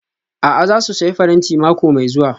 A'a, za su sayi faranti mako mai zuwa